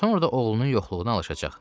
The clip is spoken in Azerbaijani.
Sonra da oğlunun yoxluğuna alışacaq.